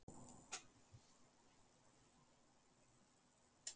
Ég ætla að fara heim.